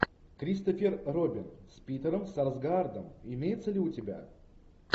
кристофер робин с питером сарсгаардом имеется ли у тебя